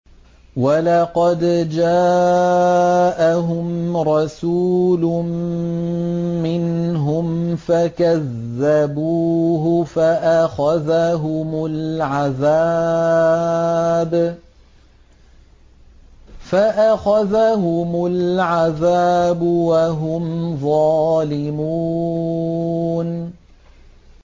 وَلَقَدْ جَاءَهُمْ رَسُولٌ مِّنْهُمْ فَكَذَّبُوهُ فَأَخَذَهُمُ الْعَذَابُ وَهُمْ ظَالِمُونَ